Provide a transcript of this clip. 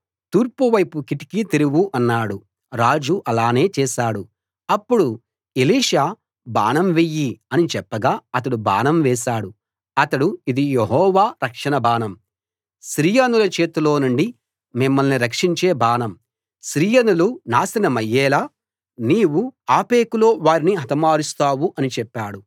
తూర్పు వైపు కిటికీ తెరువు అన్నాడు రాజు అలానే చేశాడు అప్పుడు ఎలీషా బాణం వెయ్యి అని చెప్పగా అతడు బాణం వేశాడు అతడు ఇది యెహోవా రక్షణ బాణం సిరియనుల చేతిలో నుండి మిమ్మల్ని రక్షించే బాణం సిరియనులు నాశనమయ్యేలా నీవు ఆఫెకులో వారిని హతమారుస్తావు అని చెప్పాడు